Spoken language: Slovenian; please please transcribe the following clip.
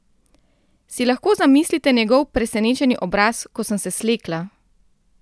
Si lahko zamislite njegov presenečeni obraz, ko sem se slekla?